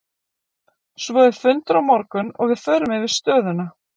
Svo er fundur á morgun og við förum yfir stöðuna.